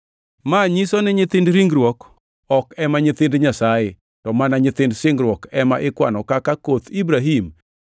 Ma nyiso ni nyithind ringruok ok ema nyithind Nyasaye, to mana nyithind singruok ema ikwano kaka koth Ibrahim.